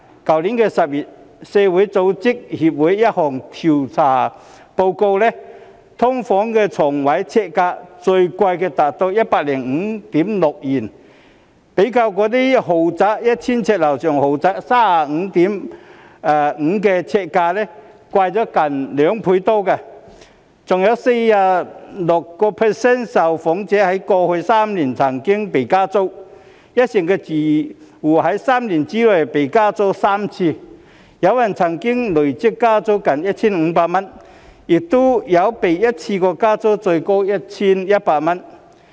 去年10月，社區組織協會一項調査報告指出，"劏房"床位呎價最貴達 105.6 元，較 1,000 呎以上豪宅的 35.5 元呎價貴近2倍；更有 46.5% 的受訪者在過去3年曾被加租，一成住戶在3年內被加租3次，有人曾被累積加租近 1,500 元，亦有被一次過加租最高 1,100 元。